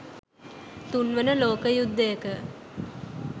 තුන්වන ලෝක යුද්ධයක